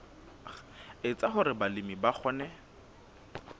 etsa hore balemi ba kgone